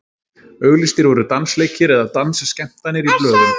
auglýstir voru dansleikir eða dansskemmtanir í blöðum